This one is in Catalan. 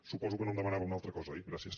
suposo que no em demanava una altra cosa oi gràcies